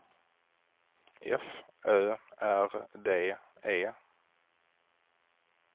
F Ö R D E